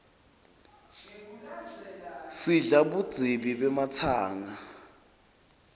sidla budzibi bematsanga